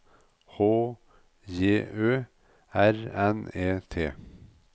H J Ø R N E T